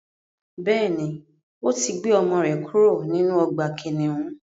Bẹ́ẹ̀ni, ò tí gbé ọmọ rẹ̀ kúrò nínú ọgbà kìnnìún.